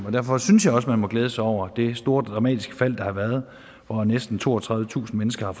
og derfor synes jeg også man må glæde sig over det store dramatiske fald der har været hvor næsten toogtredivetusind mennesker